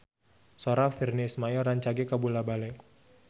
Sora Virnie Ismail rancage kabula-bale